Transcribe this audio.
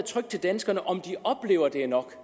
til danskerne om de oplever at det er nok